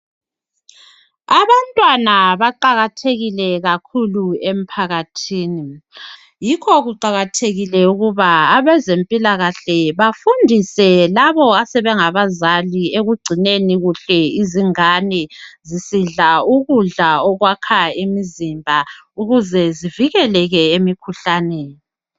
Abantwana baqakathekile kakhulu emphakathini yikho kuqakathekile ukuba abezempilakahle bafundise labo asebengabazali ekugcineni kuhle izingane zisidla ukudla okwakha imizimba ukuze zivikeleke emikhuhlaneni.